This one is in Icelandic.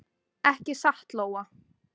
Ekki satt Lóa?